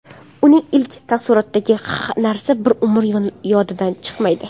Uning ilk taassurotidagi narsa bir umr yodidan chiqmaydi.